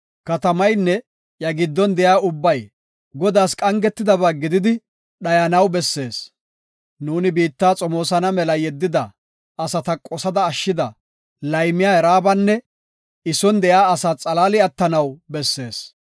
“Katamaynne iya giddon de7iyaba ubbay Godaas qangetidaba gididi dhayanaw bessees. Nuuni biitta xomoosana mela yeddida asata qosada ashshida, laymiya Raabanne I son de7iya asaa xalaali attanaw bessees.